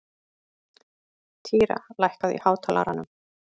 Týra, lækkaðu í hátalaranum.